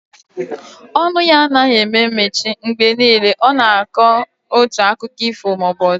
Ọnụ ya anaghị eme mechi, mgbe niile ọ nọ na akọ otu akiko ifo maọbụ ọzọ